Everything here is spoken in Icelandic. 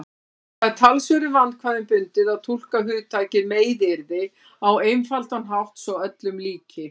Það er talsverðum vandkvæðum bundið að túlka hugtakið meiðyrði á einfaldan hátt svo öllum líki.